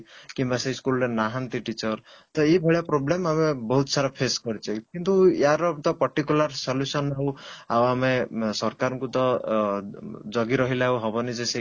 କିମ୍ବା ସେ school ରେ ନାହାନ୍ତି teacher ତ ଏଇଭଳିଆ problem ଆମେ ବହୁତ ସାରା face କରିଛେ କିନ୍ତୁ ୟାର ତ particular solution ହଉ ଆଉ ଆମେ ସରକାରଙ୍କୁ ତ ଜଗିରହିଲେ ହବନି ଯେ ସେ